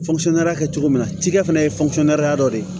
kɛ cogo min na cikɛ fana ye dɔ de ye